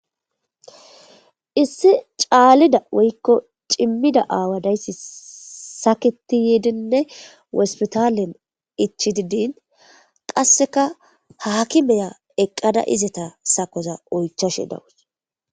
issi caalida woykko cimmida aawa dayssi saketi yeedinne wospitalen ichi didin qasseka haakimeya eqqada izeta sakoza oychoshe dawus